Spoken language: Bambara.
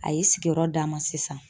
A ye sigiyɔrɔ d'an ma sisan